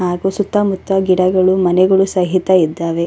ಹಾಗು ಸುತ್ತಮುತ್ತ ಗಿಡಗಳು ಮನೆಗಳು ಸಹಿತ ಇದ್ದಾವೆ.